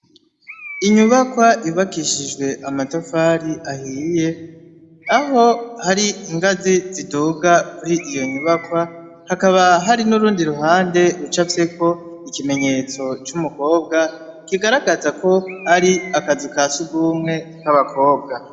Inyubakwa yubakishije amatafari ahiye, aho hari ingazi ziduga kuri iyo nyubakwa, hakaba hari n'urundi ruhande rucafyeko ikimenyetso c'umukobwa kigaragaza ko hari akazu ka sugumwe k'abakobwa.